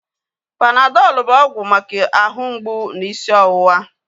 Panadọl bụ ọgwụ maka ahụ mgbụ na isi ọwụwa